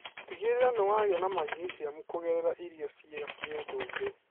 Tigĩrĩra nĩ wagia na magineciamu kũgerera irio cia kĩndũire.